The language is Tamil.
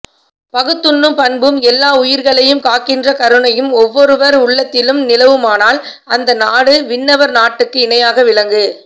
பகுத்துண்ணும் பண்பும் எல்லா உயிர்களையும் காக்கின்ற கருணையும் ஒவ்வொருவர் உள்ளத்திலும் நிலவுமானால் அந்த நாடு விண்ணவர் நாட்டுக்கு இணையாக விளங்கு